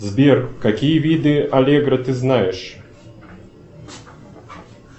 сбер какие виды аллегро ты знаешь